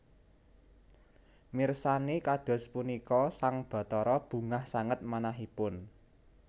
Mirsani kados punika sang Bathara bungah sanget manahipun